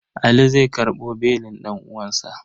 Ali zai karɓo belin ɗan'uwansa.